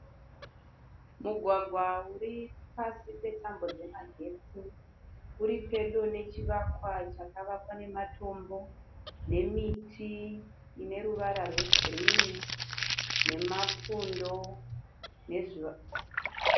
Mugwagwa uripasi petambo dzemagetsi. Uripedo nechivakwa chakavakwa nematombo nemiti ineruvara rwegirinhi nemapundo